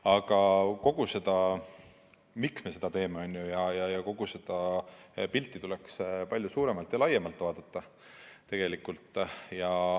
Aga seda, miks me seda teeme, kogu seda pilti tuleks palju laiemalt vaadata tegelikult.